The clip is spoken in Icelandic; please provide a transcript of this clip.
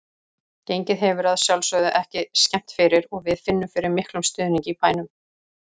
Gengið hefur að sjálfsögðu ekki skemmt fyrir og við finnum fyrir miklum stuðningi í bænum.